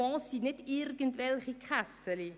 Fonds sind nicht irgendwelche «Kässeli».